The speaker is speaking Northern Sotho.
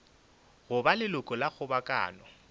go ba leloko la kgobokano